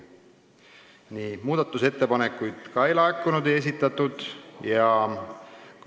Nii, muudatusettepanekuid ka ei esitatud.